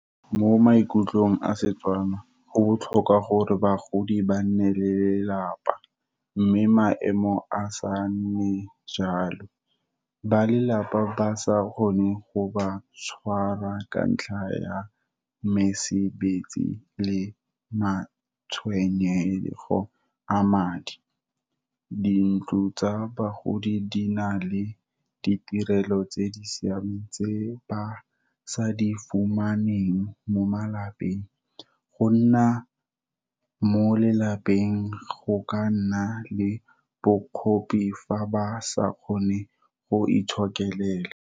Mo maikutlong a Setswana, go botlhokwa gore bagodi ba nne le lelapa. Mme maemo a sa nne jalo, ba lelapa ba sa kgone go ba tshwarwa ka ntlha ya mesebetsi le matshwenyego a madi. Dintlo tsa bagodi di na le ditirelo tse di siameng tse ba sa di fumaneng mo malapeng. Go nna mo lelapeng go ka nna le bokgopi, fa ba sa kgone go itshokela.